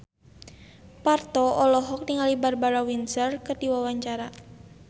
Parto olohok ningali Barbara Windsor keur diwawancara